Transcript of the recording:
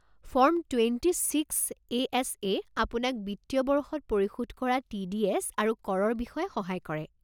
Form twenty six A S এ আপোনাক বিত্তীয় বৰ্ষত পৰিশোধ কৰা টি ডি এছ আৰু কৰৰ বিষয়ে সহায় কৰে।